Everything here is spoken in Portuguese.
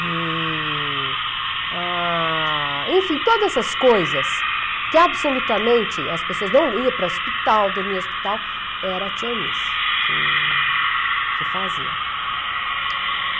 E, ah... Enfim, todas essas coisas que absolutamente as pessoas não iam para o hospital, dormiam no hospital, era a tia Onísse que que fazia.